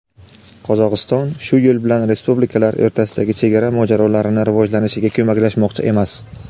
Qozog‘iston shu yo‘l bilan respublikalar o‘rtasidagi chegara mojarolarini rivojlanishiga ko‘maklashmoqchi emas.